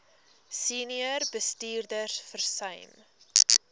senior bestuurders versuim